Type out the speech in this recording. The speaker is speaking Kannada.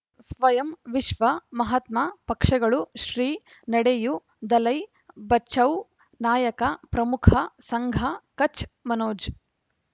ಸ್ವಯಂ ವಿಶ್ವ ಮಹಾತ್ಮ ಪಕ್ಷಗಳು ಶ್ರೀ ನಡೆಯೂ ದಲೈ ಬಚೌ ನಾಯಕ ಪ್ರಮುಖ ಸಂಘ ಕಚ್ ಮನೋಜ್